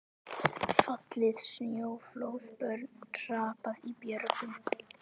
Fallið snjóflóð, börn hrapað í björgum.